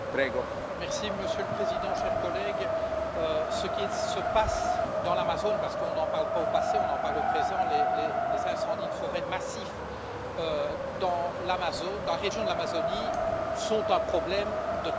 Monsieur le Président, chers collègues, ce qui se passe dans l'Amazonie parce qu'on n'en parle pas au passé, on en parle au présent les incendies de forêt massifs dans la région de l'Amazonie sont un problème de taille mondiale.